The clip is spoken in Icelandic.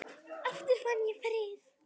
Aftur fann ég frið.